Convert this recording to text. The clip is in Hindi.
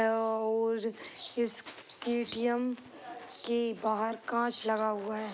और इस के.टी.एम. के बाहर कांच लगा हुआ है।